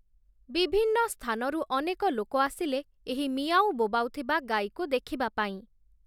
ବିଭିନ୍ନ ସ୍ଥାନରୁ ଅନେକ ଲୋକ ଆସିଲେ ଏହି 'ମିଆଁଉ' ବୋବାଉ ଥିବା ଗାଈକୁ ଦେଖିବା ପାଇଁ ।